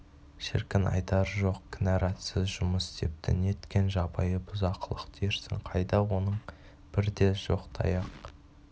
шіркін айтары жоқ кінәратсыз жұмыс істепті неткен жабайы бұзақылық дерсің қайда оның бір де жоқ таяқ